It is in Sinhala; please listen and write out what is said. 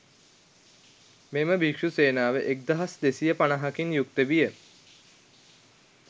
මෙම භික්ෂූ සේනාව එක්දහස් දෙසිය පනහකින් යුක්ත විය.